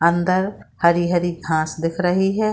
अंदर हरी-हरी घास दिख रही है।